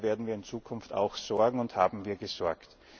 Dafür werden wir in Zukunft auch sorgen und haben wir gesorgt.